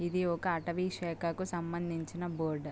ఇది ఒక అటవీ శాఖకు సంబంధించిన బోర్డ్ .